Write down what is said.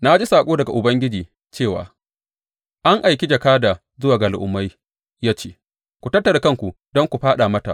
Na ji saƙo daga Ubangiji cewa; an aiki jakada zuwa ga al’ummai ya ce, Ku tattara kanku don ku fāɗa mata!